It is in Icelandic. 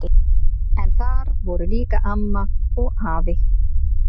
En þar voru líka amma og afi.